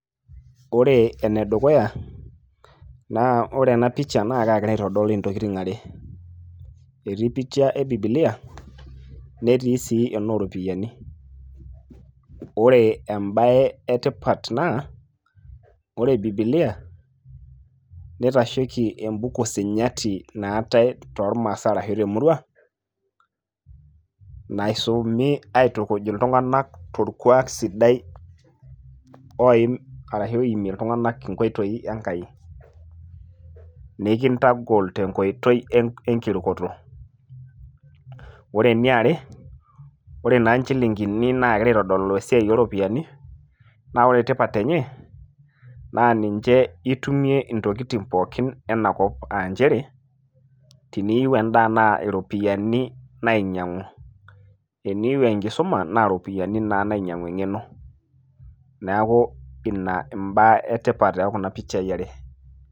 ore ene dukuya naa ore ena picha naa kaagira aitodol intokitin are ,ore ene dukuya etii picha e bibilia, netii sii enooropiyiani, ore ebae etipat naa ore bibilia, neitasheiki ebuku sinyati naatae toormaasae ashu temurua naisumi aitukuj iltunganak torkuaak sidai oim ,ashu oimie iltunganak enkoitoi enkai. nikintagol te nkoitoi enkirukoto, ore eniare, ore naa inchilinkini naagira aitodolu iropiyiani, naa ore tipat enye naa itumie intokitin pookin ena kop aa nchere, teneyieu edaa naa iropiyiani nainyiangu, teneyieu enkisuma naa iropiyiani naa nainyiangu eng'eno neeku ina ibaa etipat too Kuna pichai are.